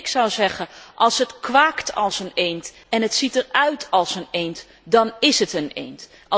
Ik zou zeggen als het kwaakt als een eend en het ziet eruit als een eend, dan ís het een eend.